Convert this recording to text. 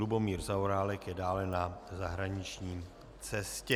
Lubomír Zaorálek je dále na zahraniční cestě.